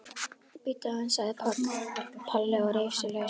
Bíddu aðeins sagði Palli og reif sig lausan.